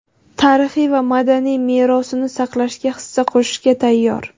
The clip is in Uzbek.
tarixiy va madaniy merosini saqlashga hissa qo‘shishga tayyor.